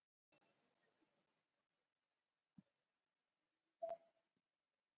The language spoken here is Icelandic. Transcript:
helstu demantanámur heims fyrr og nú